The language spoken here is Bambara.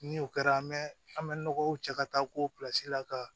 Ni o kɛra an bɛ an bɛ nɔgɔw cɛ ka taa ko pilasi la ka